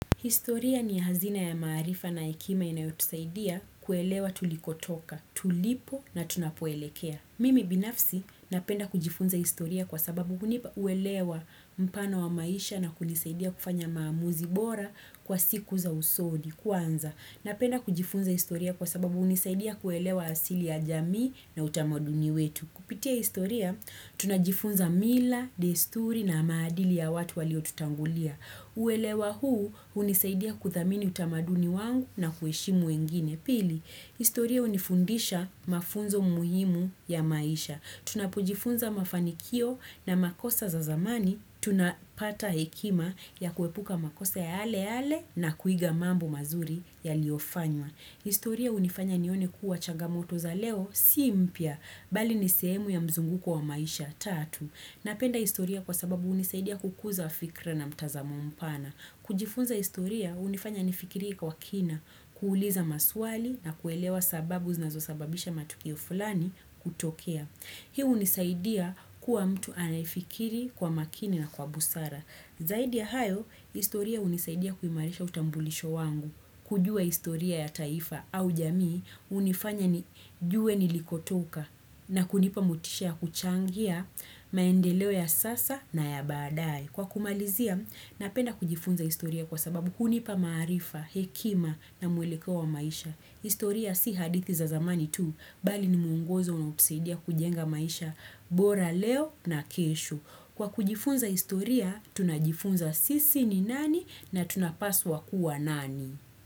Historia ni hazina ya maarifa na ekima inayotusaidia kuelewa tulikotoka, tulipo na tunapoelekea. Mimi binafsi napenda kujifunza historia kwa sababu kunipa uelewa mpano wa maisha na kunisaidia kufanya maamuzi bora kwa siku za usodi, kwanza. Napenda kujifunza historia kwa sababu unisaidia kuelewa asili ya jamii na utamaduni wetu. Kupitia historia, tunajifunza mila, desturi na maadili ya watu walio tutangulia. Uwelewa huu unisaidia kuthamini utamaduni wangu na kueshimu wengine pili. Historia unifundisha mafunzo muhimu ya maisha. Tunapujifunza mafanikio na makosa za zamani. Tunapata hekima ya kuepuka makosa yale yale na kuiga mambo mazuri ya liofanywa. Historia unifanya nione kuwa chagamoto za leo si mpya, bali nisemu ya mzunguko wa maisha tatu. Napenda historia kwa sababu unisaidia kukuza fikra na mtazamo mpana. Kujifunza historia unifanya nifikirie kwa kina, kuuliza maswali na kuelewa sababu znazosababisha matukio fulani kutokea. Hiu unisaidia kuwa mtu anafikiri kwa makini na kwa busara. Zaidi ya hayo, historia unisaidia kuimarisha utambulisho wangu. Kujua istoria ya taifa au jamii, unifanya nijue nilikotoka na kunipa mutishia kuchangia maendeleo ya sasa na ya badai. Kwa kumalizia, napenda kujifunza istoria kwa sababu hunipa maarifa, hekima na muheleko wa maisha. Historia si hadithi za zamani tu, bali ni mwongozo unaposedia kujenga maisha, bora leo na keshu. Kwa kujifunza historia, tunajifunza sisi ni nani na tunapaswa kua nani.